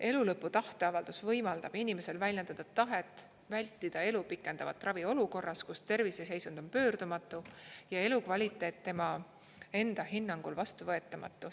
Elulõpu tahteavaldus võimaldab inimesel väljendada tahet vältida elu pikendavat ravi olukorras, kus terviseseisund on pöördumatu ja elukvaliteet tema enda hinnangul vastuvõetamatu.